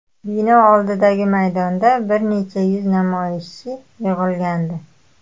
Bino oldidagi maydonda bir necha yuz namoyishchi yig‘ilgandi.